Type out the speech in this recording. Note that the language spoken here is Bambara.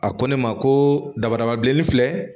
A ko ne ma ko dabarabalen filɛ